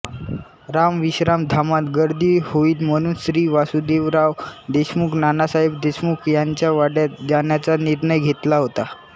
रामविश्रामधामांत गर्दी होईल म्हणून श्री वासुदेवराव देशमुख नानासाहेब देशमुख यांच्या वाड्यात जाण्याचा निर्णय घेतला होता